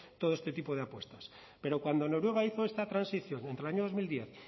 todo este tipo de apuestas pero cuando noruega hizo esta transición entre el año dos mil diez